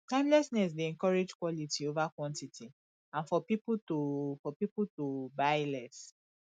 timelessness dey encourage quality over quantity and for pipo to for pipo to buy less